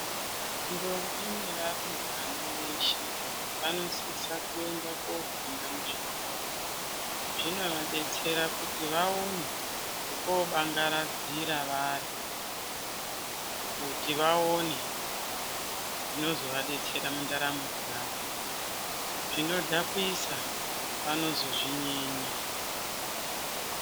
Ndombi nevarumbwama veshe vanosisa kuenda kofunda muzvikora zvinovadetsera kuti vaone oekoobangaradzira vari kuti vaone zvinozova detsera mundaramo dzawo zvinodhakwisa vanozozvinyenya.